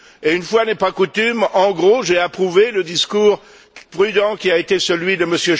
Une fois n'est pas coutume en gros, j'ai approuvé le discours prudent qui a été celui de M.